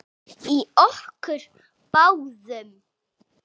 Í okkur báðum.